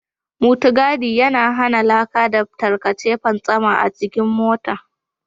Mutugadi yana hana laka da tarkace fantsama a jikin motar.